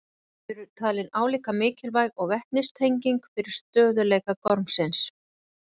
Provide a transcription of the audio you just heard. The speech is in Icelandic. Þau eru talin álíka mikilvæg og vetnistengin fyrir stöðugleika gormsins.